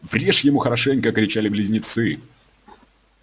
врежь ему хорошенько кричали близнецы